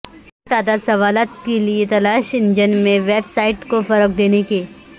کم تعدد سوالات کے لئے تلاش کے انجن میں ویب سائٹ کو فروغ دینے کے